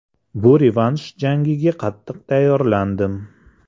Bu revansh jangiga qattiq tayyorlandim.